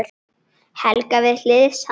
Helga við hlið hans.